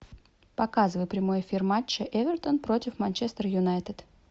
показывай прямой эфир матча эвертон против манчестер юнайтед